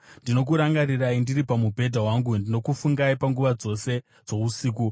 Ndinokurangarirai ndiri pamubhedha wangu; ndinokufungai panguva dzose dzousiku.